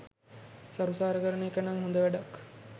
සරුසාර කරන එක නං හොඳ වැඩක්.